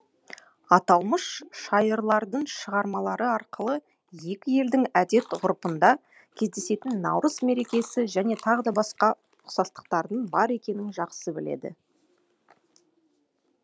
аталмыш шайырлардың шығармалары арқылы екі елдің әдет ғұрпында кездесетін наурыз мерекесі және т б ұқсастықтардың бар екенін жақсы біледі